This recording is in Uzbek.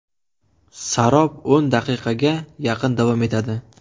Sarob o‘n daqiqaga yaqin davom etadi.